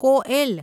Koel